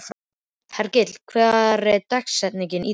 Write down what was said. Hergill, hver er dagsetningin í dag?